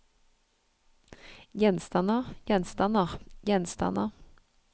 gjenstander gjenstander gjenstander